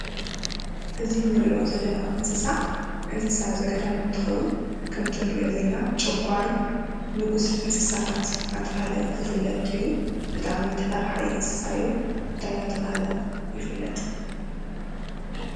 እዚ እንርእዮ ዘለና እንስሳ፡ እንስሳ ዘገዳም እንትኸውን ከም እቲ እንርእዮ ዘለና ጨጓርን ንጉስ እንሰሳታት እንዳተባሃለ ዝፍለጥ እዩ። ብጣዕሚ ተፈራሓይ እንስሳ እዩ። እንታይ እንዳተባሃለ ይፍለጥ?